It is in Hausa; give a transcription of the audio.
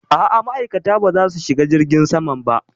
A'a ma'aikata ba za su shiga jirgin saman ba